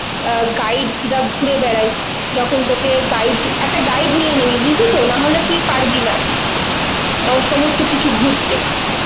অ্যাঁ guides রা ঘুরে বেড়ায়, যখন তোকে guide, একটা guide নিয়ে নিবি বুঝলি তো, নাহলে তুই পারবি না ও সমস্ত কিছু ঘুরতে.